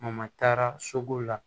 taara soko la